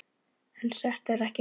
En þetta er ekki nóg.